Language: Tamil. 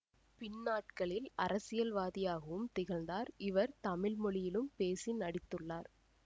பின்னாட்களில் அரசியல்வாதியாகவும் திகழ்ந்தார் இவர் தமிழ் மொழியிலும் பேசி நடித்துள்ளார்